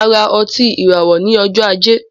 Máa ra otí ìràwọ ní ọjọ ajé